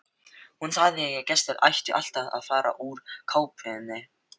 Hún sagði að gestir ættu alltaf að fara úr kápunni.